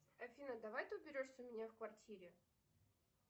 афина давай ты уберешься у меня в квартире